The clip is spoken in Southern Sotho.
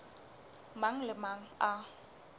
mang le a mang a